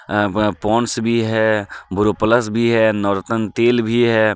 अ ब पोंड्स भी है बोरो प्लस भी हे नोरतन तेल भी हे.